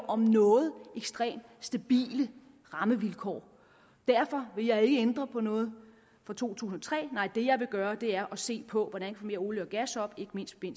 om noget ekstremt stabile rammevilkår derfor vil jeg ikke ændre på noget fra to tusind og tre nej det jeg vil gøre er at se på hvordan vi olie og gas op ikke mindst i